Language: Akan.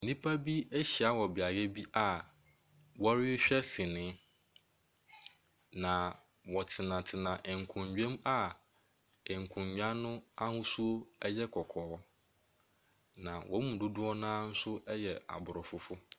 Nnipa bi ɛhyia wɔ beaeɛ bi a ɔrehwɛ sini. Na ɔtenatena nkonnwa mu a nkonwa n'ahosuo ɛyɛ kɔkɔɔ. Na wɔn mu dodoɔ naa nso yɛ abrɔfo.